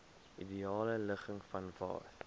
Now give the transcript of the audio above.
ideale ligging vanwaar